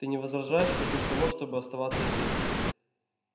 ты не возражаешь против того чтобы оставаться здесь